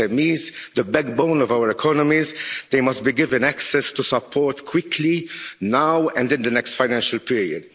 But we must go even further. We must do even more to support SMEs, the backbone of our economies. They must be given access to support quickly now and in the next financial period.